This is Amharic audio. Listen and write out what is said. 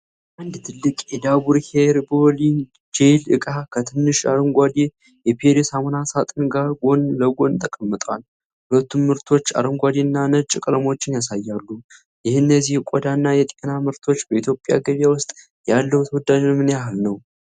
አንድ ትልቅ የዳቡር ሄርቦሊን ጄሊ ዕቃ ከትንሽ አረንጓዴ የፒሪ ሳሙና ሳጥን ጋር ጎን ለጎን ተቀምጠዋል። ሁለቱም ምርቶች አረንጓዴ እና ነጭ ቀለሞችን ያሳያሉ። የእነዚህ የቆዳና የጤና ምርቶች በኢትዮጵያ ገበያ ውስጥ ያለው ተወዳጅነት ምን ያህል ነው?